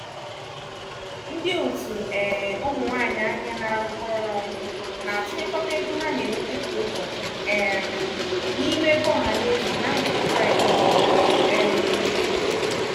ndị otu um ụmụ nwanyị ahịa na-arụkọ ọrụ ọnụ na-atụnyekọta ego ha na-enweta kwa ụbọchị um n'ime ego ọhanaeze na mgbede fraịde ọ bụla. um